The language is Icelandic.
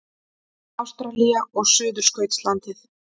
Ástralía og Suðurskautslandið.